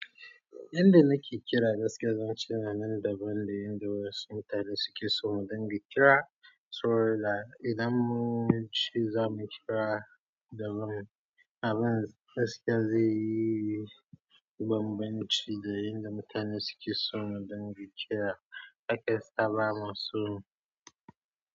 Yanda nake kira gaskiya zan ce na nan daban da yanda wasu mutane suke so mu dinga kira, so that idan munce za mu kira daban. Abin gaskiya zai yi banbanci da yanda mutane suke so mu dinga kira. Hakasta ba mu so.